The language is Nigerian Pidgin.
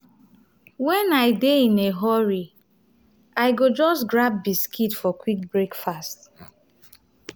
when i dey in a hurry i go just grab biscuit for quick breakfast.